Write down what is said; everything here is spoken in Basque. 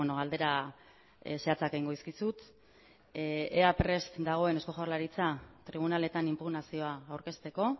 galdera zehatzak egingo dizkizut ea prest dagoen eusko jaurlaritza tribunaletan inpugnazioa aurkezteko